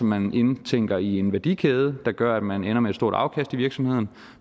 man indtænker i en værdikæde der gør at man ender med et stort afkast i virksomheden